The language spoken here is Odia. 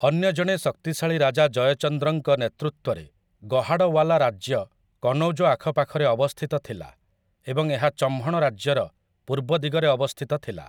ଅନ୍ୟ ଜଣେ ଶକ୍ତିଶାଳୀ ରାଜା ଜୟଚନ୍ଦ୍ରଙ୍କ ନେତୃତ୍ୱରେ ଗହାଡୱାଲା ରାଜ୍ୟ କନୌଜ ଆଖପାଖରେ ଅବସ୍ଥିତ ଥିଲା ଏବଂ ଏହା ଚହ୍ମଣ ରାଜ୍ୟର ପୂର୍ବ ଦିଗରେ ଅବସ୍ଥିତ ଥିଲା ।